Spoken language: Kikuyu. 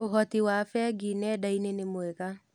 ũhoti wa bengi nenda-inĩ nĩ mwega.